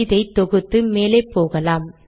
இதை தொகுத்து மேலே போகலாம்